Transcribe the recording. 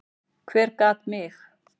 Hver gat mig?